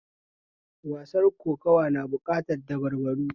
Wasar kokuwa na bukatar dabarbaru